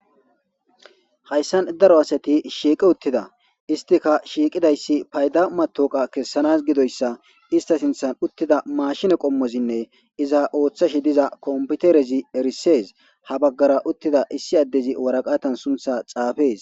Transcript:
Hayssan daro asathi shiiqi uththida;isththika shiiqida issi payda maththooqiya kessanaa gidoyssa isththa sinththan uththida maashine qommozinne iza ooththashe diza komppitherezi erissees;ha baggara uththida issi addezi waraqathan sunththaa xaafees.